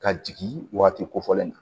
Ka jigin waati kofɔlen na